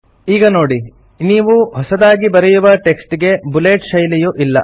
ಈಗ ನೋಡಿ ನೀವು ಹೊಸದಾಗಿ ಬರೆಯುವ ಟೆಕ್ಸ್ಟ್ ಗೆ ಬುಲೆಟ್ ಶೈಲಿಯು ಇಲ್ಲ